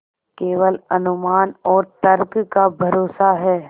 केवल अनुमान और तर्क का भरोसा है